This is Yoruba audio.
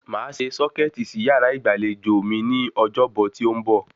Màá se sọ́kẹ̀tì sí yàrá ìgbàlejò mi ní ọjọ́bọ̀ tí ó ń bọ̀